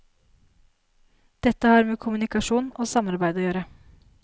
Dette har med kommunikasjon og samarbeid å gjøre.